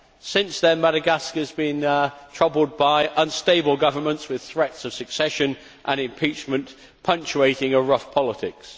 Since then, Madagascar has been troubled by unstable governments with threats of secession and impeachment punctuating a rough politics.